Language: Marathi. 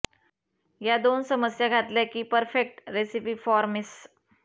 या दोन समस्या घातल्या की पर्फेक्ट रेसिपी फॉर मेस्स